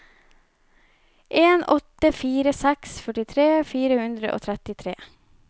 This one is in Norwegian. en åtte fire seks førtitre fire hundre og trettitre